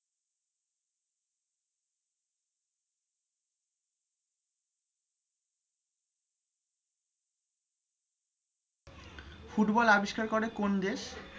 football আবিষ্কার করে কোন দেশ